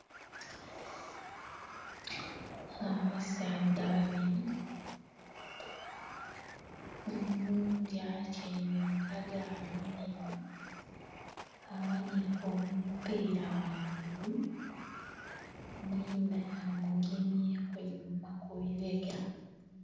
Abasaadha babiri oghundhi atyaime mu kagaali mulema aghanike omupira ghangulu mwinhe amugemyeku einhuma kwibibega.